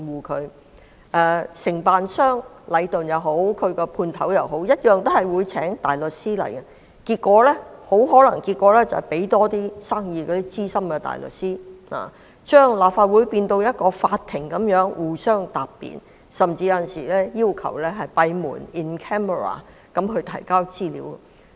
屆時，不論是承建商禮頓或其分判商同樣會聘請大律師，結果可能只會讓資深大律師接到多點生意，把立法會變成法庭般由各方答辯，而有時甚至會要求閉門提交資料。